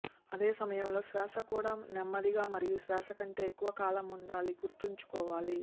అదే సమయంలో శ్వాస కూడా నెమ్మదిగా మరియు శ్వాస కంటే ఎక్కువ కాలం ఉండాలి గుర్తుంచుకోవాలి